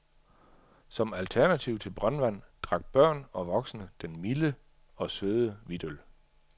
Som alternativ til brøndvand drak børn og voksne den milde og søde hvidtøl.